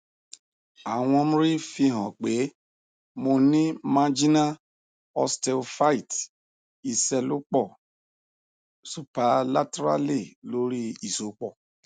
awọn mri fihan pe mo ni marginal osteophyte iṣelọpọ superlaterally lori isopọ